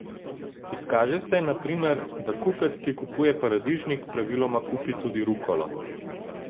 Izkaže se, na primer, da kupec, ki kupuje paradižnik, praviloma kupi tudi rukolo.